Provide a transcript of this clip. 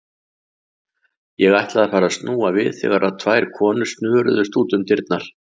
Ég ætlaði að fara að snúa við þegar tvær konur snöruðust út um dyrnar.